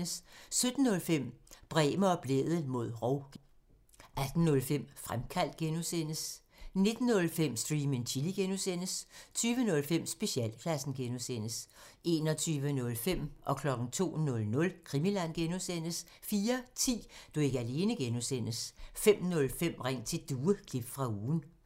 17:05: Bremer og Blædel mod rov (G) 18:05: Fremkaldt (G) 19:05: Stream and Chill (G) 20:05: Specialklassen 21:05: Krimiland (G) 02:00: Krimiland (G) 04:10: Du er ikke alene (G) 05:05: Ring til Due – klip fra ugen